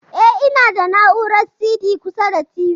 E, ina da na'urar CD kusa da TV.